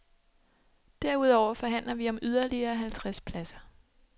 Derudover forhandler vi om yderligere halvtreds pladser.